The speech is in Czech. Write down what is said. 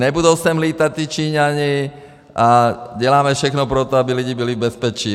Nebudou sem létat ti Číňané a děláme všechno pro to, aby lidé byli v bezpečí.